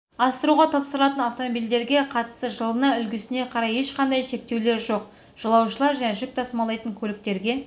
асыруға тапсырылатын автомобильдерге қатысты жылына үлгісіне қарай ешқандай шектеулер жоқ жолаушылар және жүк тасымалдайтын көліктерге